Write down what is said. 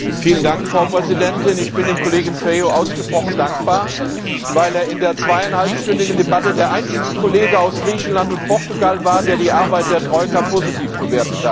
Frau Präsidentin! Ich bin dem Kollegen Feio ausgesprochen dankbar, weil er in der zweieinhalbstündigen Debatte der einzige Kollege aus Griechenland und Portugal war, der die Arbeit der Troika positiv bewertet hat.